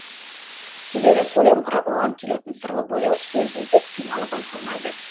себебі сөйлем құрап оған келетін сырлы бояу сөз іздеп қиналу байқалмайды